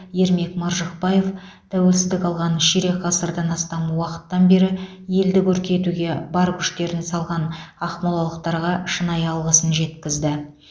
ермек маржықпаев тәуелсіздік алған ширек ғасырдан астам уақыттан бері елді көркейтуге бар күштерін салған ақмолалықтарға шынайы алғысын жеткізді